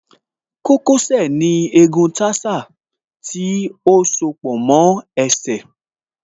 Kókó sẹ̀ ní egun tarsal tí ó soó pọ̀ mọ́ ẹsẹ̀